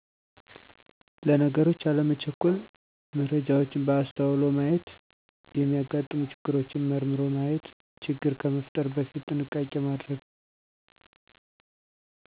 ለነገሮች አለመቸኮል መረጃዎችን በአስተዉሎ ማየት የሚያጋጥሙ ችግሮችን መርምሮ ማየት ችግር ከመፍጠር በፊት ጥንቃቄ ማድረግ